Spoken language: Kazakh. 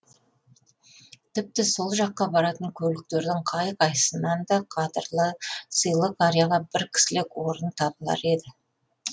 тіпті сол жаққа баратын көліктердің қай қайсысынан да қадырлы сыйлы қарияға бір кісілік орын табылар еді